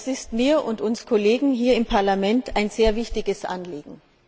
Das ist mir und uns Kollegen hier im Parlament ein sehr wichtiges Anliegen.